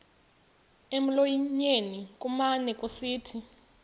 emlonyeni kumane kusithi